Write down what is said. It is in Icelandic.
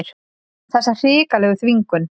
Þessa hrikalegu þvingun.